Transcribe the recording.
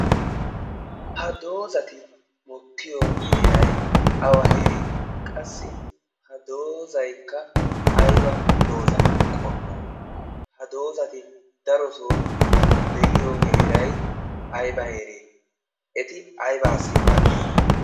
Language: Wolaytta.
ha doozati mokkiyo heerai awa heeree qassi ha doozaikka aiba dooza qommo ha doozati darosoo de7iyo heerai aiba heeree eti aibaassi maaddiyoona